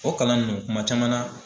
O kalan ninnu kuma caman na